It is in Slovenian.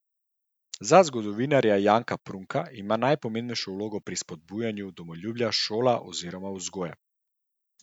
Za zgodovinarja Janka Prunka ima najpomembnejšo vlogo pri spodbujanju domoljubja šola oziroma vzgoja.